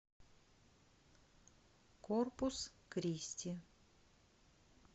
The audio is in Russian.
корпус кристи